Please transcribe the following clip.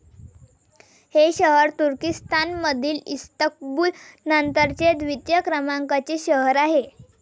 हे शहर तुर्किस्तानमधील इस्तंबूल नंतरचे द्वितीय क्रमांकाचे शहर आहे.